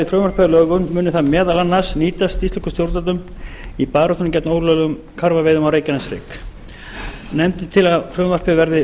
frumvarpið að lögum muni það nýtast íslenskum stjórnvöldum í baráttunni gegn ólöglegum karfaveiðum á reykjaneshrygg nefndin leggur til að frumvarpið verði